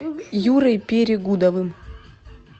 юрой перегудовым